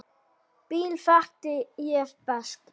Bill þekkti ég best.